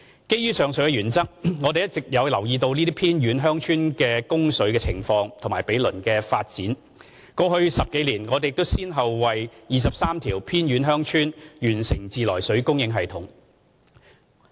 基於上述原則，我們一直有留意這些偏遠鄉村供水的情況及毗鄰地區的發展，過去10多年亦已先後為23條偏遠鄉村完成自來水供應系統。